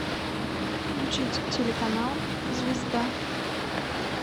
включить телеканал звезда